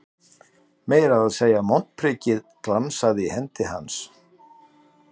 Meira að segja montprikið glansaði í hendi hans.